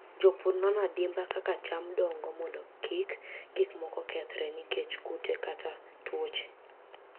Jopur nono adimba kaka cham dongo mondo kik gik moko kethre nikech kute kata tuoche.